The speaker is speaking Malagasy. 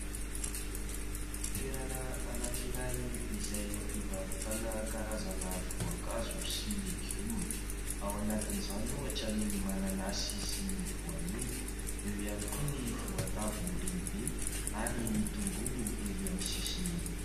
Toerana anankiray izay hivarotana voankazo sy legioma, ao anatin'izany ohatra ny mananasy sy ny voanio, eo hany koa ny voatavo lehibe ary ny tongolo erỳ amin'ny sisiny erỳ.